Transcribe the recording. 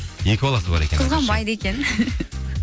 екі баласы бар екен қызғанбайды екен